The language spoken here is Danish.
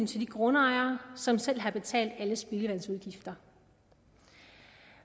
til de grundejere som selv har betalt alle spildevandsudgifter